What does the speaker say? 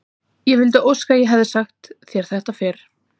Ég vildi óska að ég hefði getað sagt þér þetta fyrr.